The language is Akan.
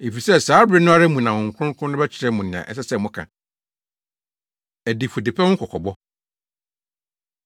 efisɛ saa bere no ara mu na Honhom Kronkron no bɛkyerɛ mo nea ɛsɛ sɛ moka.” Adifudepɛ Ho Kɔkɔbɔ